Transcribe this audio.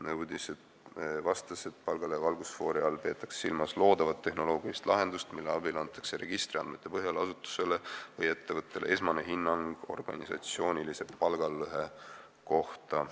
Minister vastas, et palgalõhe valgusfoori all peetakse silmas loodavat tehnoloogilist lahendust, mille abil antakse registriandmete põhjal asutusele või ettevõttele esmane hinnang organisatsiooni palgalõhe kohta.